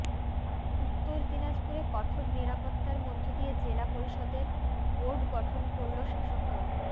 উত্তর দিনাজপুরে কঠোর নিরাপত্তার মধ্য দিয়ে জেলা পরিষদের বোর্ড গঠন করল শাসকদল